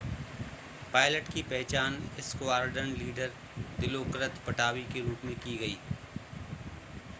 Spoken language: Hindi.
पायलट की पहचान स्क्वाड्रन लीडर दिलोकृत पटावी के रूप में की गई